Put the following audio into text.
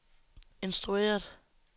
instrueret